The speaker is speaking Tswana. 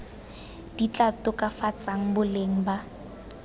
di tla tokafatsang boleng ba